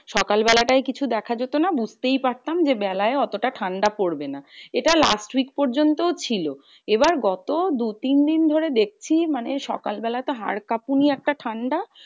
সকাল বেলাটাই কিছু দেখা যেতো না। বুজতেই পারতাম যে, বেলায় অতটা ঠান্ডা পড়বে না। এটা last week পর্যন্তও ছিল। আবার গত দু তিন ধরে দেখছি মানে সকাল বেলাটা হার কাঁপুনি একটা ঠান্ডা?